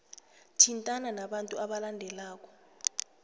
thintana nabantu abalandelako